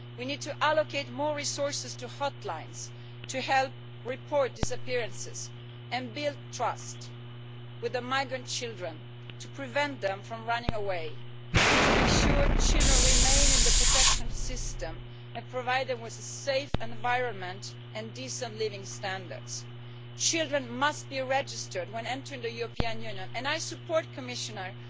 We need to allocate more resources to hotlines, to help report disappearances and build trust with migrant children to prevent them from running away, to make sure children remain in the protection system and to provide them with a safe environment and decent living standards. Children must be registered when entering the European Union and I support the Commissioner's